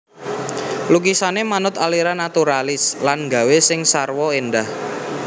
Lukisané manut aliran naturalis lan gawé sing sarwa éndah